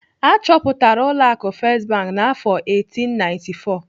Achọpụtara ụlọ akụ First Bank n'afọ 1894.